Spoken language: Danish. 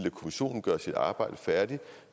kommissionen gøre sit arbejde færdigt